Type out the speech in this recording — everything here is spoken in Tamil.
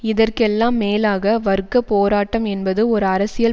இதற்கெல்லாம் மேலாக வர்க்க போராட்டம் என்பது ஒரு அரசியல்